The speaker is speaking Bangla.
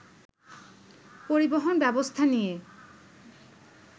পরিবহন ব্যবস্থা নিয়ে